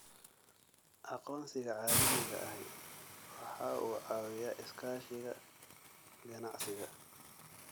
Aqoonsiga caalamiga ahi waxa uu caawiyaa iskaashiga ganacsiga.